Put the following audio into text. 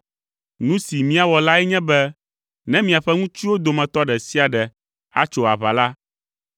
Nu si míawɔ lae nye be ne miaƒe ŋutsuwo dometɔ ɖe sia ɖe atso aʋa la,